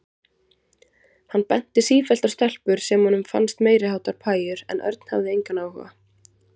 Hann benti sífellt á stelpur sem honum fannst meiriháttar pæjur en Örn hafði engan áhuga.